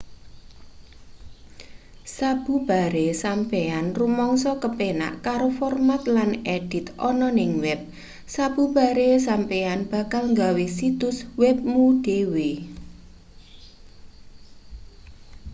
sabubare sampeyan rumangsa kepenak karo format lan edit ana ning web sabubare sampeyan bakal gawe situs web mu dhewe